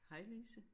Hej Lise